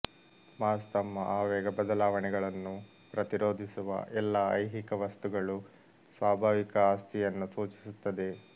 mass ತಮ್ಮ ಆವೇಗ ಬದಲಾವಣೆಗಳನ್ನು ಪ್ರತಿರೋಧಿಸುವ ಎಲ್ಲಾ ಐಹಿಕ ವಸ್ತುಗಳು ಸ್ವಾಭಾವಿಕ ಆಸ್ತಿಯನ್ನು ಸೂಚಿಸುತ್ತದೆ